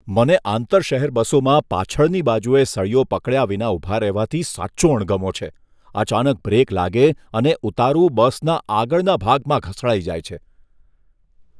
મને આંતર શહેર બસોમાં પાછળની બાજુએ સળિયો પકડ્યા વિના ઊભા રહેવાથી સાચો અણગમો છે. અચાનક બ્રેક લાગે અને ઉતારુ બસના આગળના ભાગમાં ઘસડાઈ જાય છે.